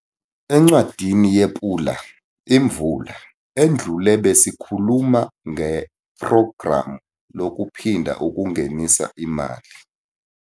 Encwadini yePula-Imvula edlule besikhuluma ngePhrogramu Lokuphinda Ukungenisa Imali.